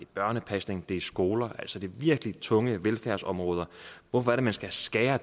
børnepasning det er i skoler altså de virkelig tunge velfærdsområder hvorfor er det man skal skære